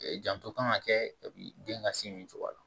Janto kan ka kɛ den ka sin min cogoya la